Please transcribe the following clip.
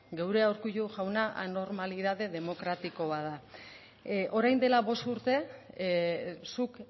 geurea urkullu jauna anormalidade demokratiko bat da orain dela bost urte zuk